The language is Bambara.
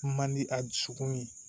Mandi a dusukun ye